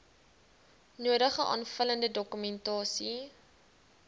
nodige aanvullende dokumentasie